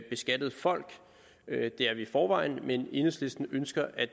beskattede folk det er vi i forvejen men enhedslisten ønsker at